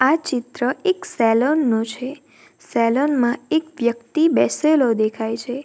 આ ચિત્ર એક સેલોન નું છે સેલોન માં એક વ્યક્તિ બેસેલો દેખાય છે.